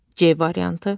C variantı.